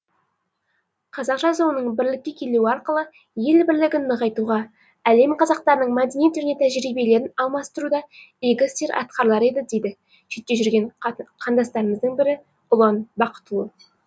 қазақ жазуының бірлікке келуі арқылы ел бірлігін нығайтуға әлем қазақтарының мәдениет және тәжірибелерін алмастыруда игі істер атқарылар еді дейді шетте жүрген қандасымыздың бірі ұлан бақытұлы